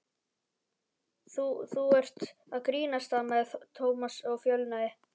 Þú- þú ert að grínast stamaði Thomas og fölnaði.